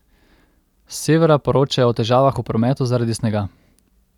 S severa poročajo o težavah v prometu zaradi snega.